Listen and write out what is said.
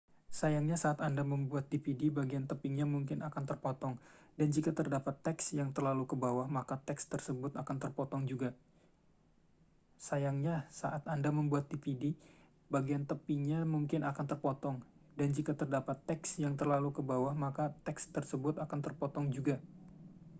sayangnya saat anda membuat dvd bagian tepinya mungkin akan terpotong dan jika terdapat teks yang terlalu ke bawah maka teks tersebut akan terpotong juga